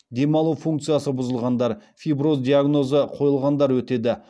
демалу функциясы бұзылғандар фиброз диагнозы қойылғандар өтеді